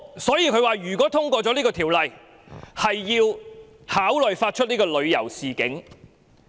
所以，台方表示，如通過《條例草案》，便考慮發出旅遊警示。